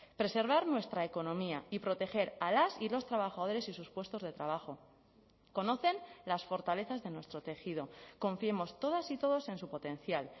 preservar nuestra economía y proteger a las y los trabajadores y sus puestos de trabajo conocen las fortalezas de nuestro tejido confiemos todas y todos en su potencial